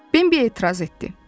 Bembi etiraz etdi.